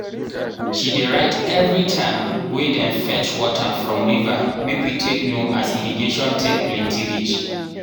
she dey write evri time wey dem fetch water from river make we take know as irrigation take plenti reach.